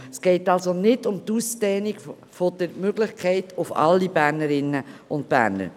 Es geht somit nicht um die Möglichkeit der Ausdehnung auf alle Bernerinnen und Berner.